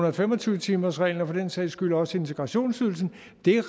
og fem og tyve timersreglen og for den sags skyld også integrationsydelsen